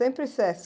Sempre Sesc.